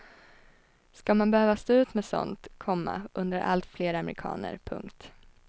Ska man behöva stå ut med sådant, komma undrar allt fler amerikaner. punkt